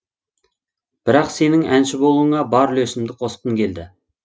бірақ сенің әнші болуыңа бар үлесімді қосқым келді